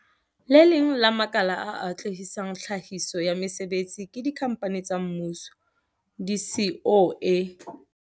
Le leng la makala a atlehisang tlhahiso ya mesebetsi ke dikhampani tsa mmuso, di-SOE.